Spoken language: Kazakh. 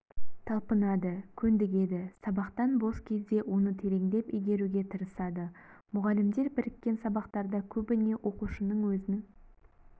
талпынады көндігеді сабақтан бос кезде оны тереңдеп игеруге тырысады мұғалімдер біріккен сабақтарда көбіне оқушының өзін